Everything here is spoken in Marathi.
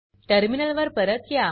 टर्मिनल वर परत या